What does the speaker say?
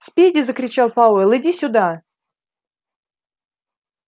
спиди закричал пауэлл иди сюда